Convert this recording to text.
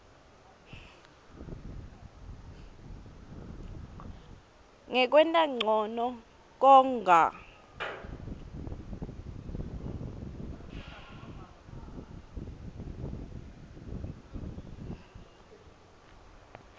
ngekwenta ncono konga